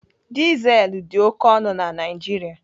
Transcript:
Dizel dị oké ọnụ na Naijiria.